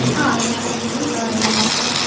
ആഹ് എല്ലാ സ്ഥലങ്ങളും cover ചെയ്യാലോ